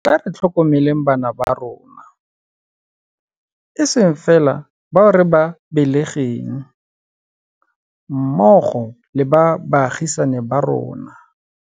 Tla re tlhokomeleng bana ba rona, e seng fela bao re ba belegeng, mmogo le ba baagisani ba rona.